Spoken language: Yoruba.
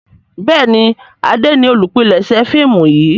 Béèni Ade ní olùpilèsè fíìmù yí.